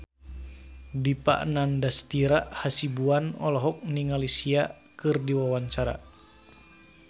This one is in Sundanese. Dipa Nandastyra Hasibuan olohok ningali Sia keur diwawancara